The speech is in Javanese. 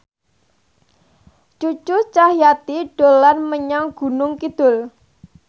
Cucu Cahyati dolan menyang Gunung Kidul